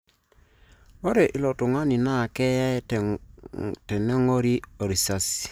Ore ilo tungani naa keye tenengori orisasi.